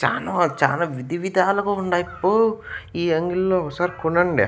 చానో చానా విధివిధాలుగా ఉండాయిప్పో ఈ అంగీడ్ లో ఒగసారి కొనండి.